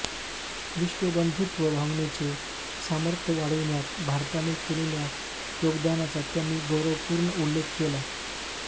विश्वबंधुत्व भावनेचे सामर्थ्य वाढविण्यात भारताने केलेल्या योगदानाचा त्यांनी गौरवपूर्ण उल्लेख केला